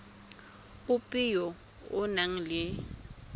ope yo o nang le